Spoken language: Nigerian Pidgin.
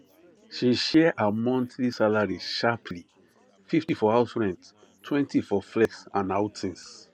she share her monthly salary sharperly 50 for house renttwentyfor flex and outings